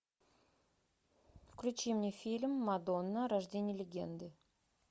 включи мне фильм мадонна рождение легенды